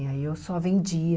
E aí eu só vendia